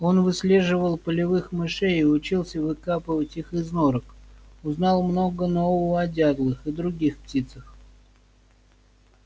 он выслеживал полевых мышей и учился выкапывать их из норок узнал много нового о дятлах и других птицах